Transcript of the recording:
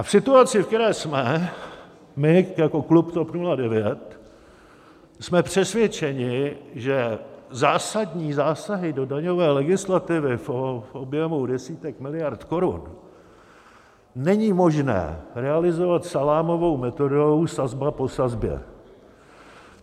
A v situaci, ve které jsme, my jako klub TOP 09 jsme přesvědčeni, že zásadní zásahy do daňové legislativy v objemu desítek miliard korun není možné realizovat salámovou metodou sazba po sazbě.